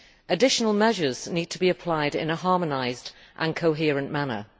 Additional measures need to be applied in a harmonised and coherent manner.